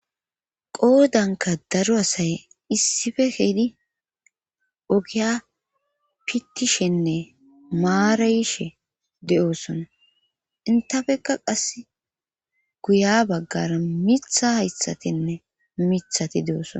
Qoodanka daru asay issife heedi ogiya pittishenne maarayishe de7oosona intafekka qass guya baggara mitha haythatinne mithati de7oosona